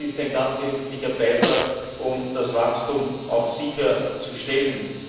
Das ist ein ganz wesentlicher Beitrag, um das Wachstum sicherzustellen.